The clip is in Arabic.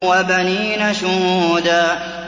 وَبَنِينَ شُهُودًا